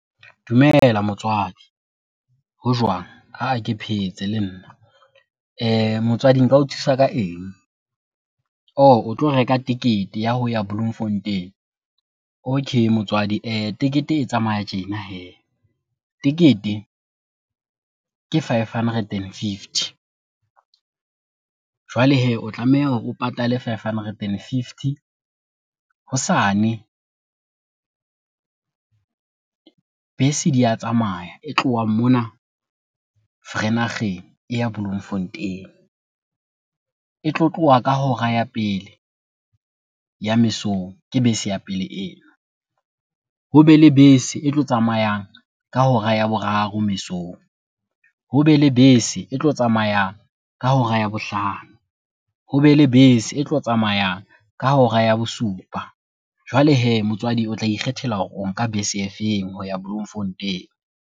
Dumela motswadi, ho jwang? Ke phetse le nna. Motswadi nka o thusa ka eng? Ohh! o tlo reka tekete ya ho ya Bloemfontein. Okay motswadi, tekete e tsamaya tjena hee, tekete ke five hundred and fifty. Jwale hee, o tlameha hore o patale five hundred and fifty hosane bese di a tsamaya. E tlohang mona Vereeniging e ya Bloemfontein. E tlo tloha ka hora ya pele ya mesong, ke bese ya pele eo. Hobe le bese e tlo tsamayang ka hora ya boraro mesong, hobe le bese e tlo tsamayang ka hora ya bohlano, hobe le bese e tlo tsamayang ka hora ya bosupa. Jwale hee motswadi o tla ikgethela hore o nka bese e feng ho ya Bloemfontein.